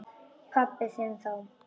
Pabba þinn þá.